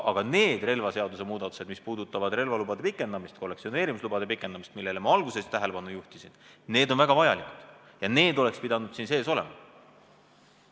Aga need relvaseaduse muudatused, mis puudutavad relvalubade ja kollektsioneerimislubade pikendamist, millele ma alguses tähelepanu juhtisin, on väga vajalikud ja need oleks pidanud siin sees olema.